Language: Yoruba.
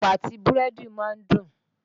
Ẹ̀pà àtí búrẹ́dì ma ń dùn.